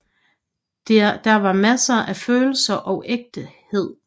Der var masser af følelser og ægthed